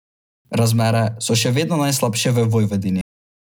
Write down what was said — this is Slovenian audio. Razmere so še vedno najslabše v Vojvodini.